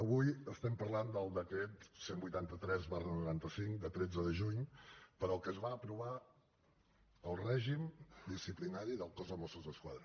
avui parlem del decret cent i vuitanta tres noranta cinc de tretze de juny per què es va aprovar el règim disciplinari del cos de mossos d’esquadra